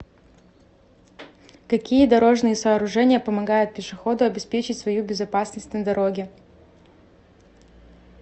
какие дорожные сооружения помогают пешеходу обеспечить свою безопасность на дороге